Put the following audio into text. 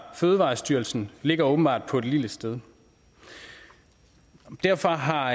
fødevarestyrelsen ligger åbenbart på et lille sted derfor har